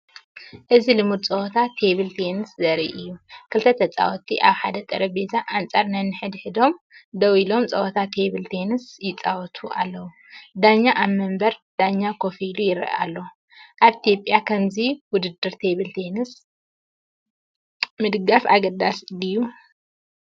እዚ ልሙድ ጸወታ ቴብል ቴኒስ ዘርኢ እዩ። ክልተተጻወትቲ ኣብ ሓደ ጠረጴዛ ኣንጻር ነንሕድሕዶም ደው ኢሎም ጸወታ ቴብል ቴኒስ ይጻወቱ ኣለዉ። ዳኛ ኣብ መንበር ዳኛ ኮፍ ኢሉ ይርኢ ኣሎ። ኣብ ኢትዮጵያ ከምዚ ውድድር ቴብል ቴኒስ ምድጋፍ ኣገዳሲ ድዩ?